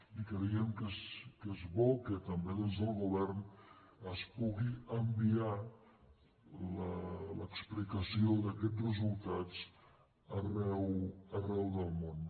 i creiem que és bo que també des del govern es pugui enviar l’explicació d’aquests resultats arreu del món